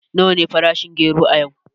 Nawa ne farashin gero a yau?